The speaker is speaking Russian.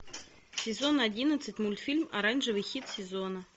сезон одиннадцать мультфильм оранжевый хит сезона